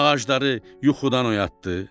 Ağacları yuxudan oyatdı.